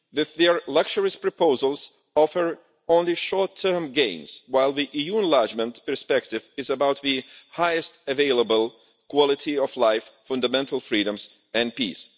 Their luxurious proposals offer only short-term gains, while the EU enlargement perspective is about the highest available quality of life, fundamental freedoms and peace.